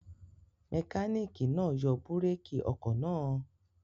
Mẹkáníkì náà yọ búrékì ọkọ̀ náà?